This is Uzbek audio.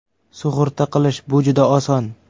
Sug‘urta qilish – bu juda oson!